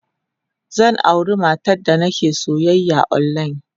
Zan auri matar da nake soyayya online.